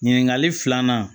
Ɲininkali filanan